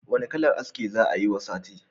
Wanna kalan aski za'a yi wani sati?